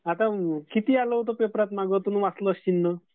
आता किती आलं होतं पेपरात मागं तुम्ही वाचलं असशील ना